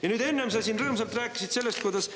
Ja nüüd, enne sa siin rõõmsalt rääkisid sellest, kuidas